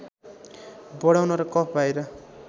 बढाउन र कफ बाहिर